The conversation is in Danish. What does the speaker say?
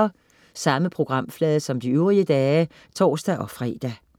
Samme programflade som de øvrige dage (tors-fre)